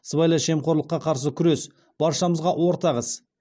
сыбайлас жемқорлыққа қарсы күрес баршамызға ортақ іс